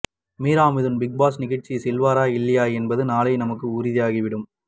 Meera Mithun Bigg Boss நிகழ்ச்சி செல்வாரா இல்லையா என்பது நாளை நமக்கு உறுதியாகிவிடும்